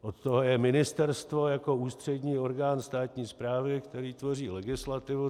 Od toho je ministerstvo jako ústřední orgán státní správy, který tvoří legislativu.